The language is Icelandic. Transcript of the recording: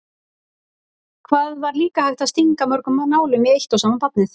Hvað var líka hægt að stinga mörgum nálum í eitt og sama barnið?